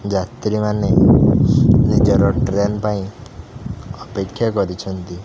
ଯାତ୍ରୀମାନେ ନିଜର ଟ୍ରେନ୍ ପାଇଁ ଅପେକ୍ଷା କରିଛନ୍ତି।